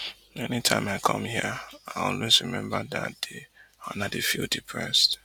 any time i come hia i always remember dat day and i dey feel depressed